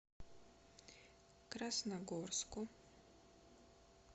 красногорску